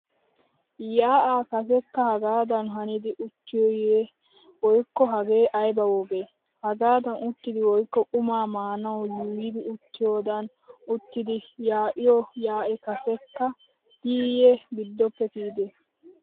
Yaa'aa kasekka hagaadan hanidi uttiyoyye woykko hagee ayba woge. Hagaadan uttidi woykko qumaa maanawu yuuyidi uttiyaadan uttidi yaa'iyo yaa'i kasekka diiyye giddoppe kiyide.